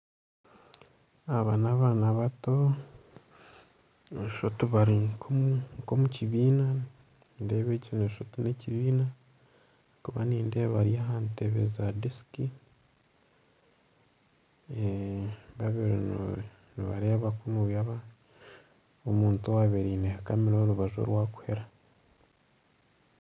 Aba n'abaana bato noshusha oti bari nka omu kibiina. Nindeeba noshusha n'ekibiina ahabwokuba nindeeba bari aha ntebe za desiki babiri nibareeba kunuya omuntu owaabeire aine kamera ahi yabeire ari.